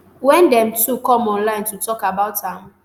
wen dem two come online to tok about am